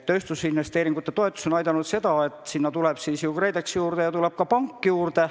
Tööstusinvesteeringute toetus on aidanud kaasa sellele, et sinna lisandub KredEx ja tuleb ka pank juurde.